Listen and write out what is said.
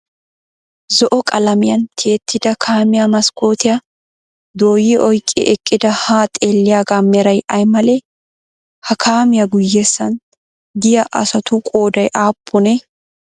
Zo"o qalamiyan tiyettida kaamiyaa maskkootiya dooyi oyqqi eqqidi haa xeelliyagaa meray ay malee? Ha kaamiya guyessan diya asatu qooday aappunee?